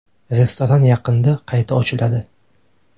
Restoran yaqinda qayta ochiladi.